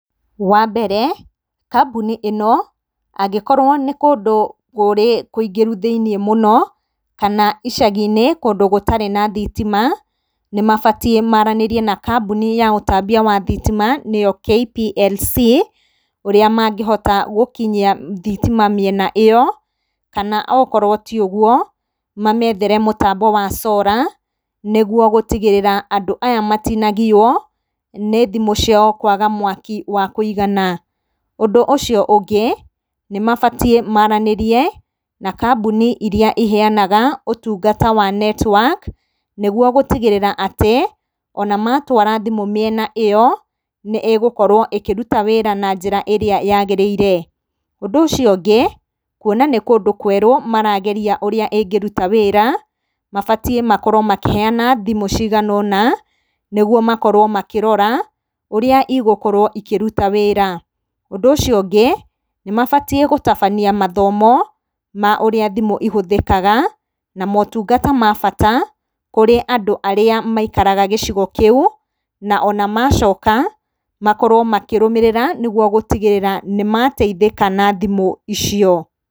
Wa mbere, kambuni ĩno, angĩkorwo nĩ kũndũ kũrĩ kũingĩru mũno kana icagi-inĩ kũndũ gũtarĩ na thitima, nĩ mabatiĩ maaranĩrie na kambuni ya ũtambia wa thitima nĩyo KPLC, ũrĩa mangĩhota gũkinyia thitima mĩena ĩyo. Kana okorwo ti ũguo, mameethere mũtambo wa solar, nĩguo gũtigĩrĩra andũ aya matinagio nĩ thimũ ciao kũaga mwaki wa kũigana. Ũndũ ũcio ũngĩ, nĩ mabatiĩ maaranĩrie na kambuni iria iheanaga ũtungata wa intaneti nĩguo gũtigĩrĩra atĩ o na maatwara thimũ mĩena ĩyo, nĩ ĩgũkorwo ĩkĩruta wĩra na njĩra ĩrĩa yaagĩrĩire. Ũndũ ũcio ũngĩ, kwona nĩ kũndũ kwerũ marageria ũrĩa ĩngĩruta wĩra, mabatiĩ makorwo makĩheana thimũ cigana ũna, nĩguo makorwo makĩrora ũrĩa igokorwo ikĩruta wĩra. Ũndũ ũcio ũngĩ, nĩ mabatiĩ gũtabania mathomo ma ũrĩa thimũ ihũthĩkaga na maũtungata ma bata kurĩ andũ arĩa maikaraga gĩcigo kĩu, na o na macoka, makorwo makĩrũmĩrĩra nĩguo gũtigĩrĩra atĩ nĩ mateithĩka na thimũ icio.